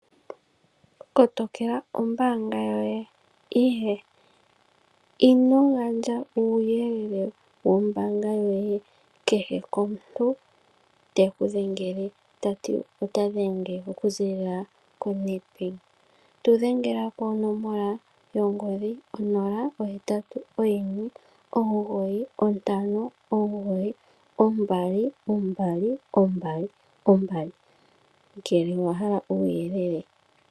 Kotokela ombaanga yoye. Ino gandja uuyelele wombaanga yoye kukehe omuntu te ku dhengele ta ti ota dhenge okuziilila koNedbank. tu dhengela konomola yongodhi 081 9592222 ngele owa hala uuyelele.